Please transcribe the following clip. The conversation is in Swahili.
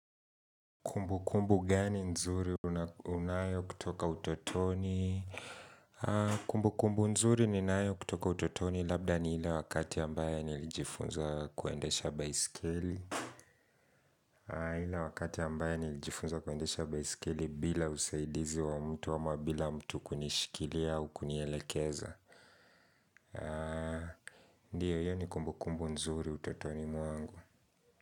Kumbukumbu gani nzuri unayo kutoka utotoni? Kumbukumbu nzuri ninayo kutoka utotoni labda ni ile wakati ambaya nilijifunza kuendesha baiskeli. Ila wakati ambaye nilijifunza kuendesha baiskeli bila usaidizi wa mtu ama bila mtu kunishikilia au kunielekeza. Ndiyo, hiyo ni kumbukumbu nzuri utotoni mwangu.